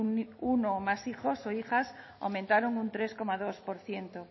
uno o más hijos o hijas aumentaron un tres coma dos por ciento